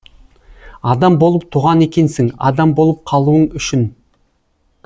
адам болып туған екенсің адам болып қалуың үшін